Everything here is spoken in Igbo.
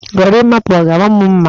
Gorimapa, ọ ga-ama m mma?